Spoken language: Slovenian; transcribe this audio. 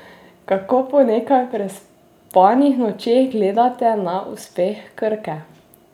Kako po nekaj prespanih nočeh gledate na uspeh Krke?